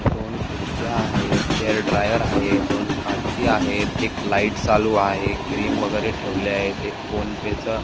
दोन खुर्च्या आहेत हेयरड्रायर आहे दोन काची आहेत एक लाइट चालू आहे क्रीम वगेरे ठेवले आहेत एक फोनपे च--